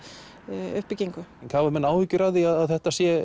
uppbyggingu hafa menn áhyggjur af því að þetta sé